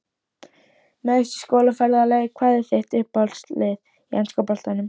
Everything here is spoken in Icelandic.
Meiðast í skólaferðalagi Hvað er þitt uppáhaldslið í enska boltanum?